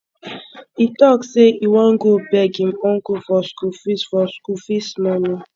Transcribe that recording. he talk say he wan go beg him uncle for school fees for school fees money